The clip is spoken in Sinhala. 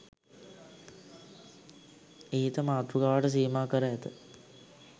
ඉහත මාතෘකාවට සීමා කර ඇත